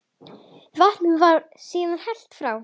Vatninu var síðan hellt frá.